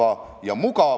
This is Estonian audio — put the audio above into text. Austatud eesistuja!